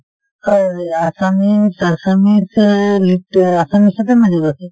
হয় , assamese assumes এ লিত assumes তে major আছে ।